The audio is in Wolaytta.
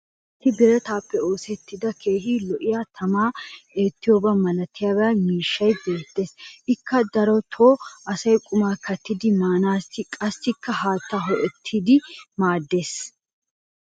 issi birattaappe oosettida keehi lo'iya tamaa eettiyoba malattiya miishshay beetees. ikka darotoo asay qumaa kattidi maanaassinne qassi haattaa hoo'ettanaassi maadees.